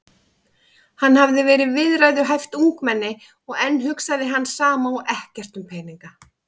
Hann hafði verið viðræðuhæft ungmenni og enn hugsaði hann sama og ekkert um peninga.